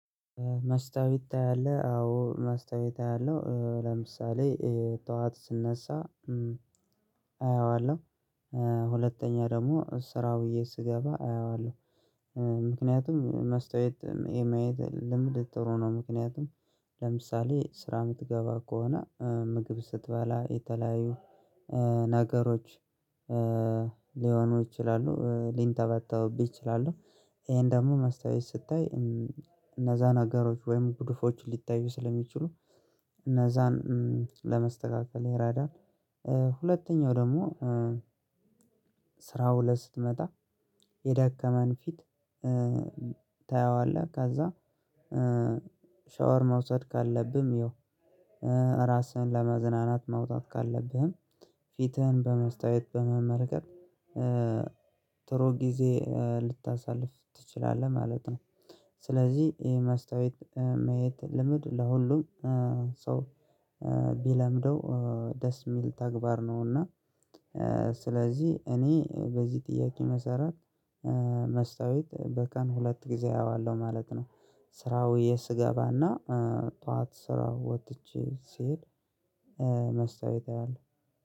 መስታወት ታያለህ? አዎ መስታወት አያለሁ ለምሳሌ ጠዋት ስነሳ አየዋለሁ ሁለተኛ ደግሞ ስራ ብዬ ስገባ አየዋለሁ። ምክንያቱም መስታየት የማየት ልምድ ጥሩ ነው። ምክንያቱም ለምሳሌ ስራ እምትገባ ከሆነ ምግብ ስትበላ የተለያዩ ነገሮች ሊሆኑ ይችላሉ ሊንጠባጠብህ ይችላሉ። ይሄን ደግሞ መስታወት ስታይ እነዛ ነገሮች ወይም ጉድፎች ሊታዩ ስለሚችሉ እነዛን ለመስተካከል ይረዳል። ሁለተኛው ደግሞ ስራው ላይ ስትመጣ የደከመን ፊት። ታየዋለህ ከዛ ሻወር መውሰድ ካለብህም ይኸው ራስህን ለመዝናናት መውጣት ካለብህም ፊትህን በመስታየት በመመልከት ጥሩ ጊዜ ልታሳልፍ ትችላለህ ማለት ነው። ስለዚህ ይሄ ማስታወት ማየት ልምድ ለሁሉም ሰው ቢለምደው ደስ የሚል ተግባር ነውና። ስለዚህ እኔ በዚህ ጥያቄ መሰረት መስታወት በቀን ሁለት ጊዜ አየዋለው ማለት ነው። ስራ ውየ ስገባና ጠዋት ስራ ወጥቼ ስሄድ። መስታወት አለ